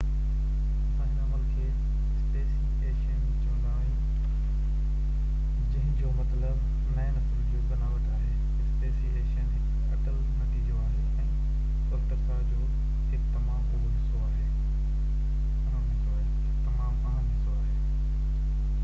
اسان هن عمل کي اسپيسي ايشن چوندا آهيون جنهن جو مطلب نئي نسلن جو بناوٽ آهي اسپيسي ايشن هڪ اٽل نتيجو آهي ۽ ارتقا جو هڪ تمام اهم حصو آهي